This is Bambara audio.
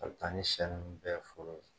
Ani she nunnu bɛɛ fɔlɔ.